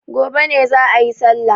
Gobe ne za'a yi sallah.